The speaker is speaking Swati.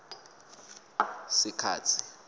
sikhatsi